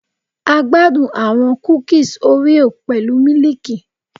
A gbadun awọn kukis oreo pẹlu miliiki